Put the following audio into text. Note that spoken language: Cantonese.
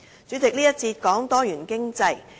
主席，這個環節是關於多元經濟。